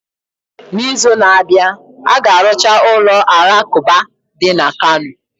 N'izu na-abịa, a ga-arụcha ụlọ alakụba dị na Kano.